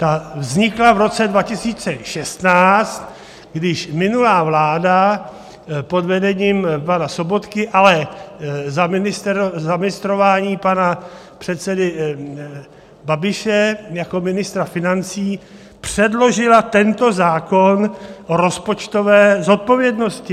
Ta vznikla v roce 2016, když minulá vláda pod vedením pana Sobotky, ale za ministrování pana předsedy Babiše jako ministra financí předložila tento zákon o rozpočtové zodpovědnosti.